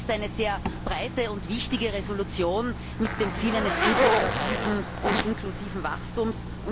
Ich denke, das ist eine sehr breite und wichtige Entschließung mit dem Ziel eines integrativen und inklusiven Wachstums.